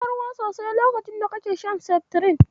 Ka sha ruwa sosai lokacin da kake shan Seftirin.